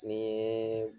Ni